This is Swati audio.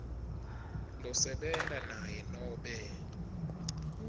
losebenta naye nobe